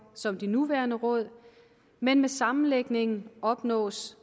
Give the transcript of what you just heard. som de nuværende råd men med sammenlægningen opnås